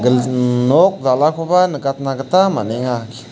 mmh nok dal·akoba nikatna gita man·enga.